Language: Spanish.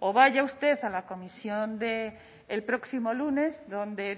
o vaya usted a la comisión del próximo lunes donde